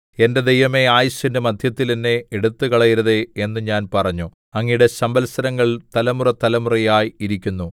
എന്റെ ദൈവമേ ആയുസ്സിന്റെ മദ്ധ്യത്തിൽ എന്നെ എടുത്തുകളയരുതേ എന്ന് ഞാൻ പറഞ്ഞു അങ്ങയുടെ സംവത്സരങ്ങൾ തലമുറതലമുറയായി ഇരിക്കുന്നു